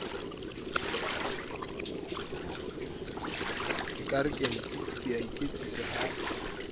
ekare ke a iketsisa ha